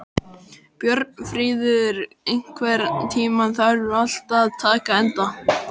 Björnfríður, einhvern tímann þarf allt að taka enda.